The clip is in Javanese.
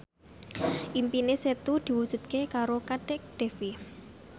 impine Setu diwujudke karo Kadek Devi